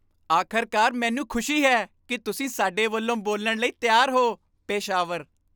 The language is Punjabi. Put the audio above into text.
ਆਖ਼ਰਕਾਰ! ਮੈਨੂੰ ਖੁਸ਼ੀ ਹੈ ਕੀ ਤੁਸੀਂ ਸਾਡੇ ਵੱਲੋਂ ਬੋਲਣ ਲਈ ਤਿਆਰ ਹੋ ਪੇਸ਼ਾਵਰ